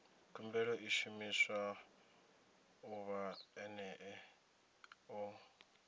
khumbelo i shumiwa ḓuvha ḽene ḽo